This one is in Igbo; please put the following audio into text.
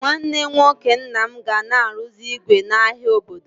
Nwanne nwoke nna m ga na arụzi ígwè n'ahia obodo.